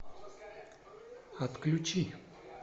отключи